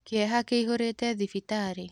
Kĩeha kĩihũrĩte thibitarĩ.